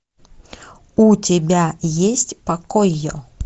у тебя есть покойо